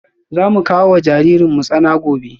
Za mu kawo wa jaririn tsana gobe